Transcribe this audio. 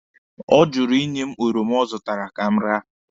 Ọ jụrụ ịnye m oroma ọ zụtara ka m raa.